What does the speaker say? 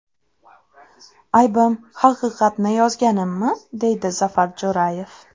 Aybim, haqiqatni yozganimmi?”, deydi Zafar Jo‘rayev.